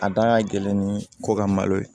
A da ka gɛlɛn ni ko ka malo ye